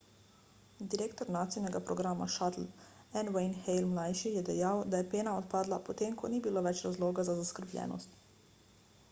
direktor nasinega programa shuttle n wayne hale ml je dejal da je pena odpadla po tem ko ni bilo več razloga za zaskrbljenost